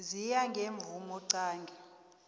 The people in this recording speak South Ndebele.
ziya ngemvumo qange